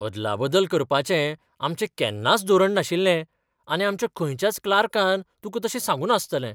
अदलाबदल करपाचें आमचें केन्नाच धोरण नाशिल्लें आनी आमच्या खंयच्याच क्लार्कान तुका तशें सांगूंना आसतलें.